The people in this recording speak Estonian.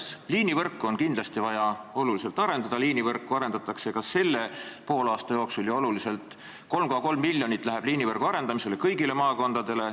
Esiteks, liinivõrku on kindlasti vaja oluliselt arendada, liinivõrku arendatakse ka selle poolaasta jooksul ja oluliselt – 3,3 miljonit läheb liinivõrgu arendamiseks kõigile maakondadele.